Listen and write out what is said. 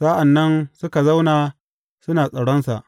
Sa’an nan suka zauna suna tsaronsa.